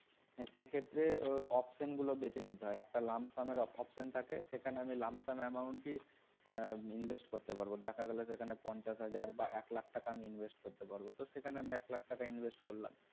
সে ক্ষেত্রে option গুলো বেছে নিতে হয় একটা lump sum এর option থাকে সেখানে lump sum amount দিয়ে আহ invest করতে পারবো, টাকাগুলা সেখানে পঞ্চাশ হাজার বা এক lakh টাকা আমি invest করতে পারব তো সেখানে আমি এক lakh টাকা আমি invest করলাম